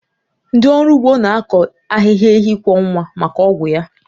Ndị ọrụ ugbo na-akọ ahịhịa enyi kwọ nwa maka ọgwụ ya